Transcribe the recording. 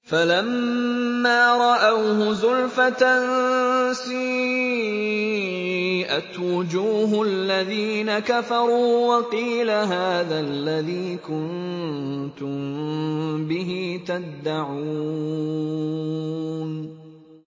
فَلَمَّا رَأَوْهُ زُلْفَةً سِيئَتْ وُجُوهُ الَّذِينَ كَفَرُوا وَقِيلَ هَٰذَا الَّذِي كُنتُم بِهِ تَدَّعُونَ